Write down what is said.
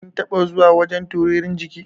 Kin taɓa zuwa wajan turirin jiki?